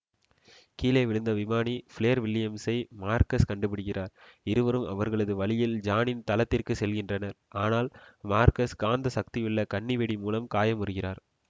கீழே விழுந்த விமானி ப்ளேர் வில்லியம்ஸை மார்கஸ் கண்டுபிடிக்கிறார் இருவரும் அவர்களது வழியில் ஜானின் தளத்திற்குச் செல்கின்றனர் ஆனால் மார்கஸ் காந்தசக்தியுள்ள கன்னிவெடி மூலம் காயமுறுகிறார்